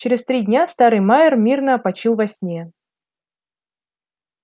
через три дня старый майер мирно опочил во сне